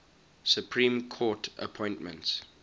supreme court appointments